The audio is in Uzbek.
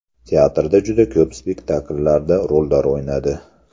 Teatrda juda ko‘p spektakllarda rollar o‘ynadi.